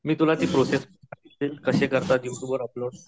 मी तुला ती प्रोसेस कशे करतात यु ट्यूब वर अपलोड.